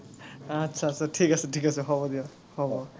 আটচ্ছা আটচ্ছা, ঠিক আছে ঠিক আছে হব দিয়ক, হ‘ব।